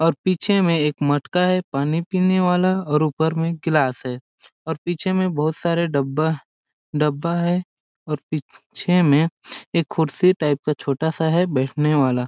और पीछे में एक मटका है पानी पीने वाला और ऊपर मे गिलास है और पीछे में बहुत सारे डब्बा डब्बा है और पीछे में एक कुर्सी टाइप का छोटा सा है बैठने वाला--